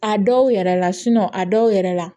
A dɔw yɛrɛ la a dɔw yɛrɛ la